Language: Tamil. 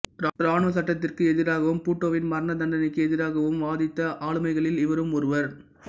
இராணுவச் சட்டத்திற்கு எதிராகவும் பூட்டோவின் மரணதண்டனைக்கு எதிராகவும் வாதிட்ட ஆளுமைகளில் இவரும் ஒருவர்